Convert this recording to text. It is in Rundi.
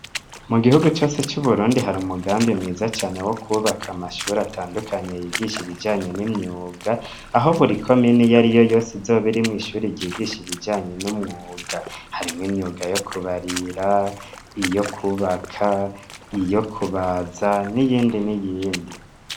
Mu gihugu cose c'Uburundi hari umugambi mwiza cane wo kwubaka amashuri atandukanye yigisha ibijanye n'imyuga; aho buri komine iyo ariyo yose, izoba irimwo ishuri ryigisha, ibijanye n'umwuga, harimwo imyuga yo kubarira, iyo kwubaka, iyo kubaza, n'iyindi n'iyindi.